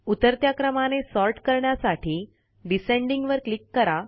उतरत्या क्रमाने सॉर्ट करण्यासाठी डिसेंडिंग वर क्लिक करा